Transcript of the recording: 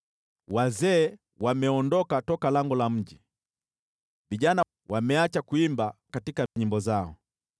Wazee wameondoka langoni la mji, vijana wameacha kuimba nyimbo zao.